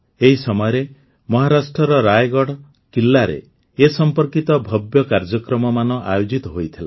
ଏହି ସମୟରେ ମହାରାଷ୍ଟ୍ରର ରାୟଗଢ଼ କିଲ୍ଲାରେ ଏ ସମ୍ପର୍କିତ ଭବ୍ୟ କାର୍ଯ୍ୟକ୍ରମମାନ ଆୟୋଜିତ ହୋଇଥିଲା